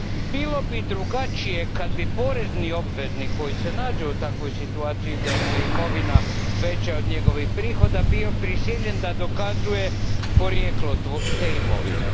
Bilo bi drugačije kad bi porezni obveznik koji se nađe u takvoj situaciji da mu je imovina veća od njegovih prihoda bio prisiljen da dokazuje porijeklo te imovine.